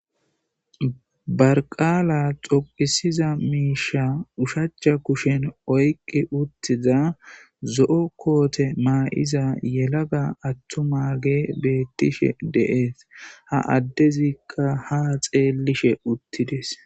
barqaala xoqisiza miisha ushacha kushen oyqi uttiza zo7o koote maa7iza yelaga attu ma ge beettishe deees ha addezikka ha xeellishe uttides